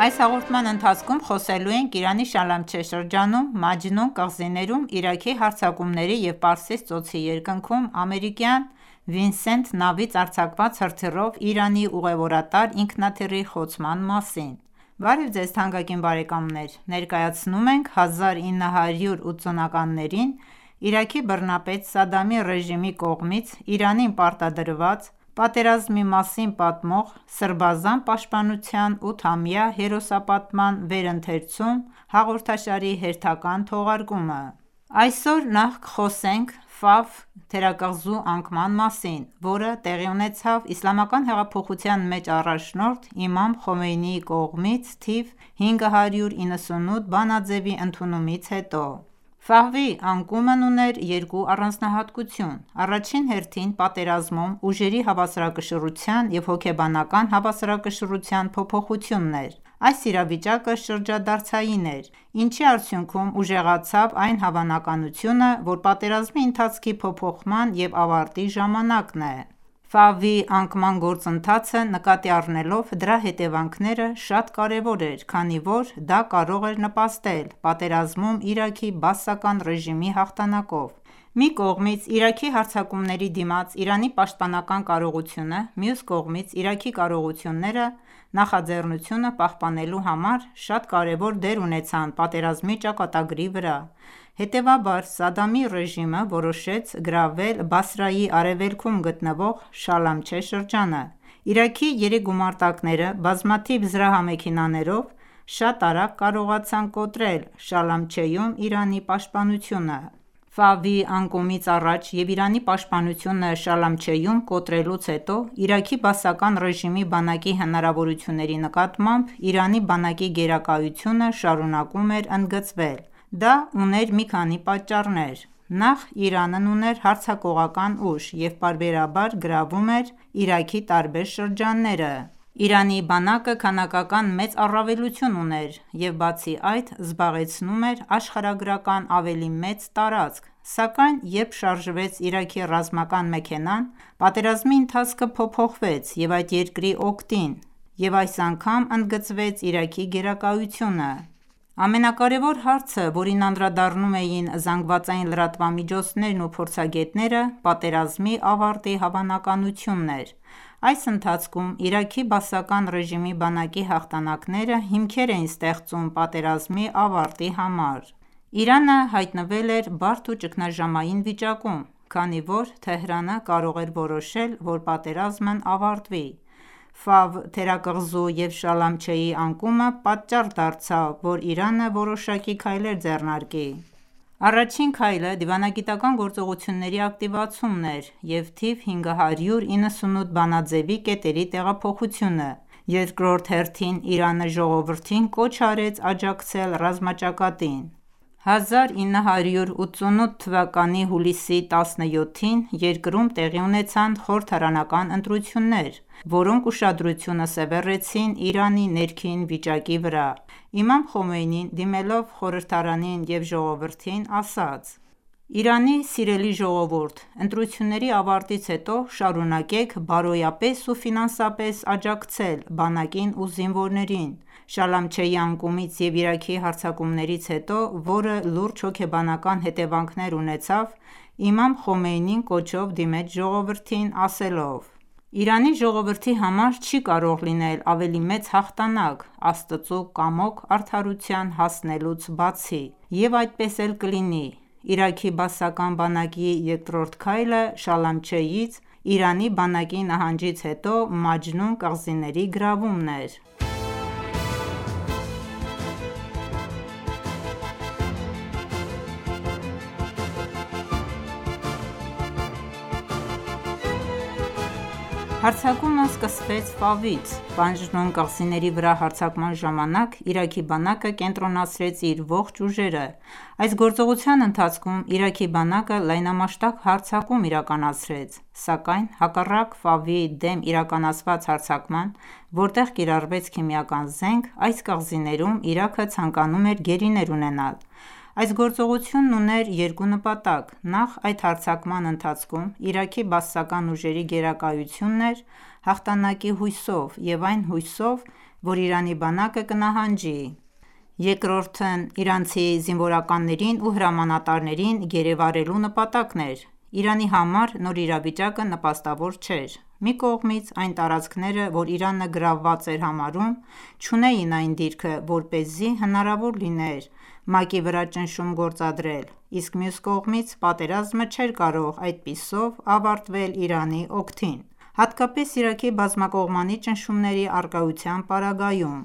Այս հաղորդման ընթացքում խոսեելու ենք Իրանի Շալամչե շրջանում, Մաջնուն կղզիներում Իրաքի հարձակումների և Պարսից ծոցի երկնքում ամերիկյան Վինսենթ նավից արձակված հրթիռով Իրանի ուղևորատար ինքնաթիռի խոցման մասին: Բարև Ձեզ, թանկագին բարեկամներ, ներկայացնում ենք 1980-ականներին Իրաքի բռնապետ Սադդամի ռեժիմի կողմից Իրանին պարտադրված պատերազմի մասին պատմող «Սրբազան պաշտպանության 8-ամյա հերոսապատման վերընթերցում» հաղորդաշարի հերթական թողարկումը: Այսօր նախ կխոսենք Ֆավ թերակղզու անկման մասին, որը տեղի ունեցավ իսլամական հեղափոխության մեծ առաջնորդ իմամ Խոմեյնիի կողմից թիվ 598 բանաձևի ընդունումից հետո: Ֆավի անկումն ուներ երկու առանձնահատկություն: Առաջին հերթին պատերազմում ուժերի հավասարակշռության և հոգեբանական հավասարակշռության փոփոխությունն էր: Այս վիճակը շրջադարձային էր, ինչի արդյունքում ուժեղացավ այն հավանականությունը, որ պատերազմի ընթացքի փոփոխման և ավարտի ժամանակն է: Ֆավի անկման գործընթացը, նկատի առնելով դրա հետևանքները, շատ կարևոր էր, քանի որ դա կարող էր նպաստել պատերազմում Իրաքի բաասական ռեժիմի հաղթանակով: Մի կողմից Իրաքի հարձակումների դիմաց Իրանի պաշտպանական կարողությունը, մյուս կողմից Իրաքի կարողությունները՝ նախաձեռնությունը պահպանելու համար, շատ կարևոր դեր ունեցան պատերազմի ճակատագրի վրա: Հետևաբար, Սադդամի ռեժիմը որոշեց գրավել Բասրայի արևելքում գտնվող Շալամչե շրջանը: Իրաքի երեք գումարտակները, բազմաթիվ զրահամեքենաներով, շատ արագ կարողացան կոտրել Շալամչեում Իրանի պաշտպանությունը: Ֆավի անկումից առաջ և Իրանի պաշտպանությունը Շալամչեում կոտրելուց հետո, Իրաքի բաասական ռեժիմի բանակի հնարավորությունների նկատմամբ Իրանի բանակի գերակայությունը շարունակում էր ընդգծվել: Դա ուներ մի քանի պատճառ: Նախ՝ Իրանն ուներ հարձակողական ուժ և պարբերաբար գրավում էր Իրաքի տարբեր շրջանները: Իրանի բանակը քանակական մեծ առավելություն ուներ և բացի այդ, զբաղեցնում էր աշխարհագրական ավելի մեծ տարածք: Սակայն երբ շարժվեց Իրաքի ռազմական մեքենան, պատերազմի ընթացքը փոփոխվեց այդ երկրի օգտին և այս անգամ ընդգծվեց Իրաքի գերակայությունը: Ամենակարևոր հարցը, որին անդրադառնում էին ԶԼՄ-ներն ու փորձագետները, պատերազմի ավարտի հավանականությունն էր: Այս ընթացքում Իրաքի բաասական ռեժիմի բանակի հաղթանակները հիմքեր էին ստեղծում պատերազմի ավարտի համար: Իրանը հայտնվել էր բարդ ու ճգնաժամային վիճակում, քանի որ Թեհրանը կարող էր որոշել, որ պատերազմն ավարտվի: Ֆավ թերակղզու և Շալամչեի անկումը պատճառ դարձավ, որ Իրանը որոշակի քայլեր ձեռնարկի: Առաջին քայլը դիվանագիտական գործողությունների ակտիվացումն էր և թիվ 598 բանաձևի կետերի տեղափոխությունը: Երկրորդ հերթին, Իրանը ժողովրդին կոչ արեց աջակցել ռազմաճակատին: 1988թ հուլիսի 17-ին երկրում տեղի ունեցան խորհրդարանական ընտրություններ, որոնք ուշադրությունը սևեռեցին Իրանի ներքին վիճակի վրա: Իմամ Խոմեյնին, դիմելով խորհրդարանին և ժողովրդին, ասաց. «Իրանի սիրելի ժողովուրդ, ընտրությունների ավարտից հետո շարունակեք բարոյապես ու ֆինանսապես աջակցել բանակին ու զինվորներին»:Շալամչեի անկումից և Իրաքի հարձակումներից հետո, որը լուրջ հոգեբանական հետևանքներ ունեցավ, իմամ Խոմեյնին կոչով դիմեց ժողովրդին, ասելով. «Իրանի ժողովրդի համար չի կարող լինել ավելի մեծ հաղթանակ՝ Աստծու կամոք արդարության հասնելուց բացի: Եվ այդպես էլ կլինի»:Իրաքի բաասական բանակի երկրորդ քայլը, Շալամչեից Իրանի բանակի նահանջից հետո, Մաջնուն կղզիների գրավումն էր: Հարձակումը սկսվեց Ֆավից: Մաջնուն կղզիների վրա հարձակման ժամանակ Իրաքի բանակը կենտրոնացրեց իր ողջ ուժերը: Այս գործողության ընթացքում, Իրաքի բանակը լայնամասշտաբ հարձակում իրականացրեց: Սակայն հակառակ դեմ իրականացված հարձակման, որտեղ կիրառվեց քիմիական զենք, այս կղզիներում Իրաքը ցանկանում էր գերիներ ունենալ: Այս գործողությունն ուներ երկու նպատակ: Նախ՝ այդ հարձակման ընթացքում Իրաքի բաասական ուժերի գերակայությունն էր՝ հաղթանակի հույսով և այն հույսով, որ Իրանի բանակը կնահանջի: Երկրորդն իրանցի զինվորականներին ու հրամանատրներին գերեվարելու նպատակն էր: Իրանի համար նոր իրավիճակը նպաստավոր չէր: Մի կողմից այն տարածքները, որ Իրանը գրավված էր համարում, չունեին այն դիրքը, որպեսզի հնարավոր լիներ ՄԱԿ-ի վրա ճնշում գործադրել, իսկ մյուս կողմից պատերազմը չէր կարող այդպիսով ավարտվել Իրանի օգտին՝ հատկապես Իրաքի բազմակողմանի ճնշումների առկայության պարագայում: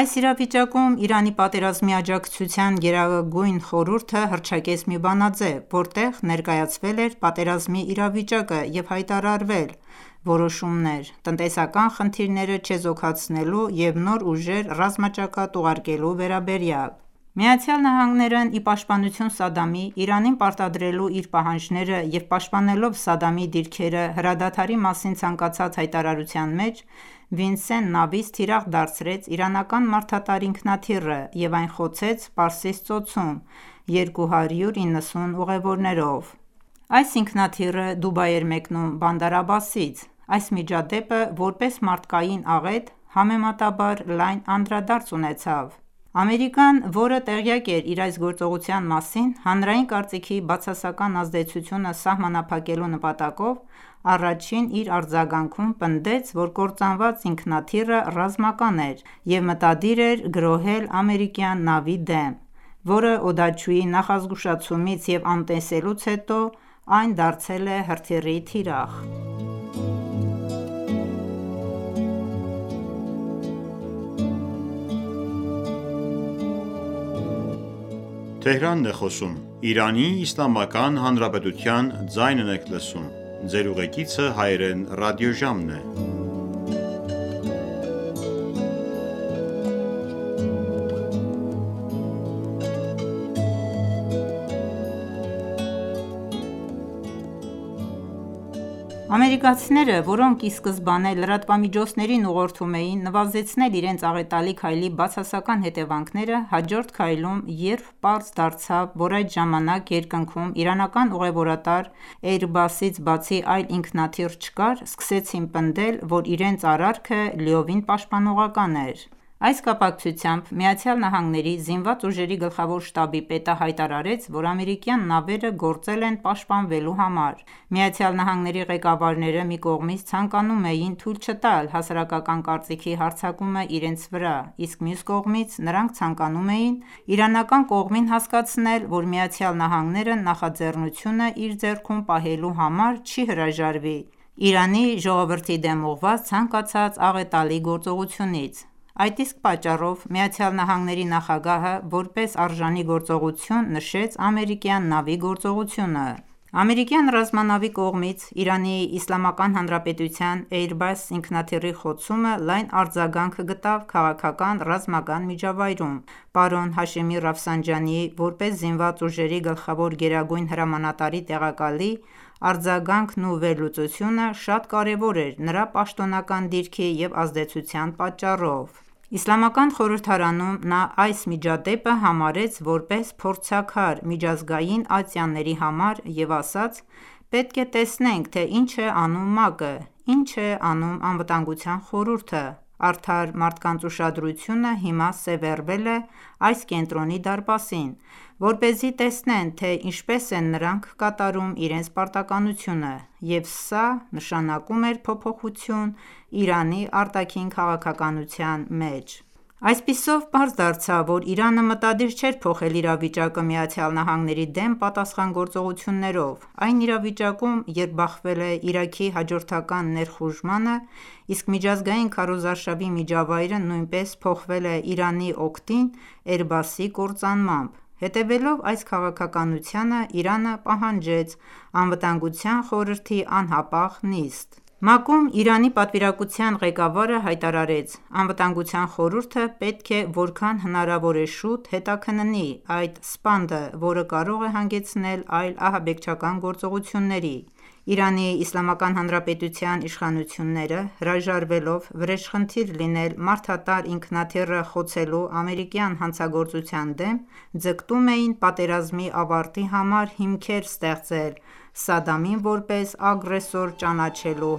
Այս իրավիճակում, Իրանի պատերազմի աջակցության գերագույն խորհուրդը հռչակեց մի բանաձև, որտեղ ներկայացվել էր պատերազմի իրավիճակը և հայտարարվել որոշումներ` տնտեսական խնդիրները չեզոքացնելու և նոր ուժեր ռազմաճակատ ուղարկելու վերաբերյալ։ ԱՄՆ-ն, ի պաշտպանություն Սադամի՝ Իրանին պարտադրելու իր պահանջները, և պաշտպանելով Սադամի դիրքերը հրադադարի մասին ցանկացած հայտարարության մեջ, Վինսեն նավից թիրախ դարձրեց իրանական մարդատար ինքնաթիռը և այն խոցեց Պարսից ծոցում 290 ուղևորներով: Այս ինքնաթիռը Դուբայ էր մեկնում Բանդար Աբասից։ Այս միջադեպը, որպես մարդկային աղետ, համեմատաբար լայն անդրադարձ ունեցավ։ Ամերիկան, որը տեղյակ էր իր այս գործողության մասին, հանրային կարծիքի բացասական ազդեցությունը սահմանափակելու նպատակով, առաջին իր արձագանքում պնդեց, որ կործանված ինքնաթիռը ռազմական էր և մտադիր էր գրոհել ամերիկյան նավի դեմ, որը օդաչուի նախազգուշացումից և անտեսելուց հետո, այն դարձել է հրթիռի թիրախ։ Ամերիկացիները, որոնք ի սկզբանե լրատվամիջոցներին ուղղորդում էին նվազեցնել իրենց աղետալի քայլի բացասական հետևանքները, հաջորդ քայլում, երբ պարզ դարձավ, որ այդ ժամանակ երկնքում իրանական ուղևորատար Airbus-ից բացի այլ ինքնաթիռ չկար, սկսեցին պնդել, որ իրենց արարքը. լիովին պաշտպանողական էր: Այս կապակցությամբ ԱՄՆ Զինված ուժերի գլխավոր շտաբի պետը հայտարարեց, որ ամերիկյան նավերը գործել են պաշտպանվելու համար։ ԱՄՆ֊ ի ղեկավարները մի կողմից ցանկանում էին թույլ չտալ հասարակական կարծիքի հարձակումը իրենց վրա, իսկ մյուս կողմից՝ նրանք ցանկանում էին իրանական կողմին հասկացնել, որ ԱՄՆ-ն նախաձեռնությունը իր ձեռքում պահելու համար, չի հրաժարվի Իրանի ժողովրդի դեմ ուղղված ցանկացած աղետալի գործողությունից։ Այդ իսկ պատճառով ԱՄՆ նախագահը որպես արժանի գործողություն նշեց ամերիկյան նավի գործողությունը։ Ամերիկյան ռազմանավի կողմից Իրանի Իսլամական Հանրապետության Airbus ինքնաթիռի խոցումը լայն արձագանք գտավ քաղաքական-ռազմական միջավայրում։ Պարոն Հաշեմի որպես զինված ուժերի գլխավոր գերագույն հրամանատարի տեղակալի արձագանքն ու վերլուծությունը շատ կարևոր էր նրա պաշտոնական դիրքի և ազդեցության պատճառով։ Իսլամական խորհրդարանում նա այս միջադեպը համարեց որպես փորձաքար միջազգային ատյանների համար և ասաց. «Պետք է տեսնենք, թե ինչ է անում ՄԱԿ-ը: Ի՞նչ է անում Անվտանգության խորհուրդը. Արդար մարդկանց ուշադրությունը հիմա սևեռվել է այս կենտրոնի դարպասին, որպեսզի տեսնեն, թե ինչպես են նրանք կատարում իրենց պարտականությունը»։ Եվ սա, նշանակում էր փոփոխություն Իրանի արտաքին քաղաքականության մեջ, Այսպիսով պարզ դարձավ որ Իրանը մտադիր չէ փոխել իրավիճակը ԱՄՆ-ի դեմ պատասխան գործողություններով, այն իրավիճակում, երբ բախվել է Իրաքի հաջորդական ներխուժմանը, իսկ միջազգային քարոզարշավի միջավայրը նույնպես փոխվել է Իրանի օգտին Airbus-ի կործանմամբ։ Հետևելով այս քաղաքականությանը՝ Իրանը պահանջեց Անվտանգության խորհրդի անհապաղ նիստ։ ՄԱԿ-ում Իրանի պատվիրակության ղեկավարը հայտարարեց.«Անվտանգության խորհուրդը պետք է որքան հնարավոր է շուտ հետաքննի այդ սպանդը, որը կարող է հանգեցնել այլ ահաբեկչական գործողությունների»։ Իրանի Իսլամական Հանրապետության իշխանությունները հրաժարվելով վրեժխնդիր լինել մարդատար ինքնաթիռը խոցելու ամերիկյան հանցագործության դեմ, ձգտում էին պատերազմի ավարտի համար հիմքեր ստեղծել՝ Սադամին որպես ագրեսոր ճանաչելու